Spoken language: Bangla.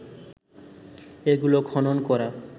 এগুলো খনন করা